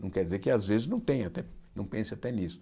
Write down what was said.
Não quer dizer que às vezes não tenha, né não pense até nisso.